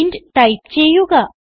int type ചെയ്യുക